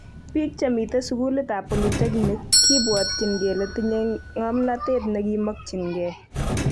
Bik chemiten sukulit ab polytechnic kibwotyin kele tinye komnotet nekimokyike